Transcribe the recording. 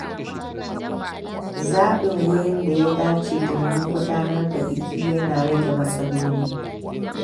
Zaɓin wurin da ya dace domin gudanar da biki ya na rage matsaloli.